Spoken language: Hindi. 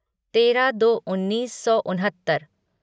तेरह दो उन्नीस सौ उनहत्तर